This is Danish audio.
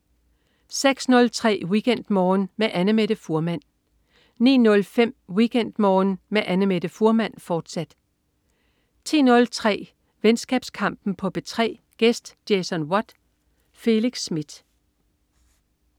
06.03 WeekendMorgen med Annamette Fuhrmann 09.05 WeekendMorgen med Annamette Fuhrmann, fortsat 10.03 Venskabskampen på P3. Gæst: Jason Watt. Felix Smith